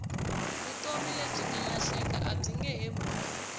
vutomi lebyi nga lahleka abyinge he vuyi